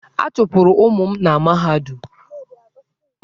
A chụpụrụ ụmụ m na mahadum.